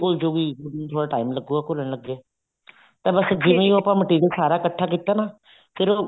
ਜਲਦੀ ਘੁਲ ਜੁਗੀ ਗੁੜ ਨੂੰ ਥੋੜਾ time ਲੱਗੂਗਾ ਘੁਲਣ ਲੱਗੇ ਤਾਂ ਬੱਸ ਜਿਹੜੀ ਉਹ ਆਪਾਂ material ਇੱਕਠਾ ਕੀਤਾ ਨਾ ਫੇਰ ਉਹਨੂੰ